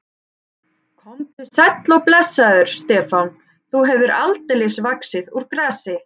Komdu sæll og blessaður, Stefán, þú hefur aldeilis vaxið úr grasi.